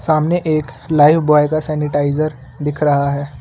सामने एक Lifebuoy का सैनिटाइजर दिख रहा है।